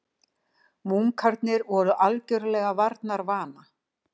Munkarnir voru algerlega varnarvana.